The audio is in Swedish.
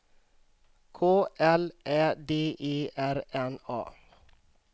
K L Ä D E R N A